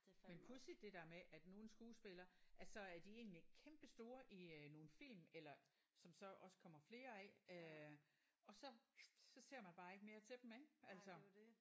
Men pudsigt det der med at nogle skuespillere at så er de egentlig kæmpestore i øh nogle film eller som så også kommer flere af øh og så så ser man bare ikke mere til dem ik altså